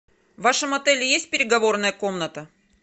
в вашем отеле есть переговорная комната